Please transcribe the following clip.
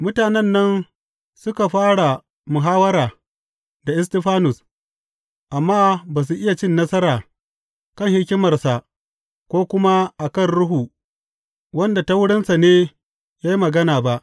Mutanen nan suka fara muhawwara da Istifanus, amma ba su iya cin nasara kan hikimarsa ko kuma a kan Ruhu wanda ta wurinsa ne ya magana ba.